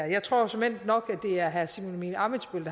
jeg tror såmænd nok at det er herre simon emil ammitzbøll